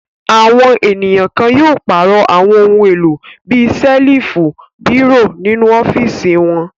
Àwọn ènìyàn kan yóò pàrọ̀ àwọn ohun-èlò bí i ṣẹ́lífù, bírò nínú ọ́fíísì wọn.